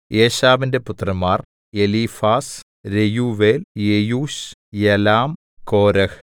ഏശാവിന്റെ പുത്രന്മാർ Eliphaz Reuel Jeush Jalam Korah